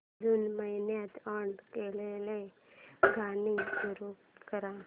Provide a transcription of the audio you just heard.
जून महिन्यात अॅड केलेली गाणी सुरू कर